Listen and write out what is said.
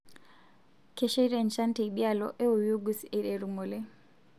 kesheita enchan teidialo e Oyugis eiteru ngole